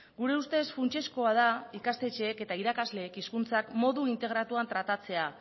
gure ustez funtsezkoa da ikastetxeek eta irakasleek hizkuntzak modu integratuan tratatzea